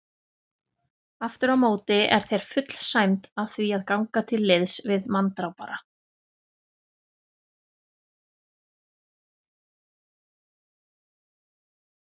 Afturámóti er þér full sæmd að því að ganga til liðs við manndrápara.